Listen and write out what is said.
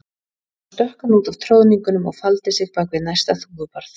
Þá stökk hann út af troðningunum og faldi sig bak við næsta þúfubarð.